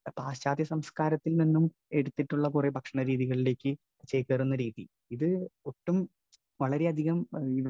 Speaker 1 പശ്ചാത്യസംസ്കാരത്തിൽനിന്നും എടുത്തിട്ടുള്ള കുറെ ഭക്ഷണരീതികളിലേക്ക് ചേക്കേറുന്ന രീതി. ഇത് ഒട്ടും, വളരെയാധികം